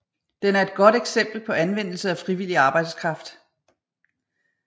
Den et godt eksempel på anvendelse af frivillig arbejdskraft